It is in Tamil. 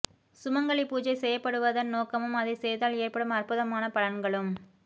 சுமங்கலி பூஜை செய்யப்படுவதன் நோக்கமும் அதை செய்தால் ஏற்படும் அற்புதமான பலன்களும்